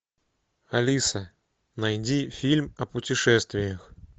алиса найди фильм о путешествиях